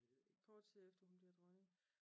Kort tid efter hun bliver dronning